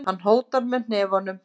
Hann hótar með hnefunum.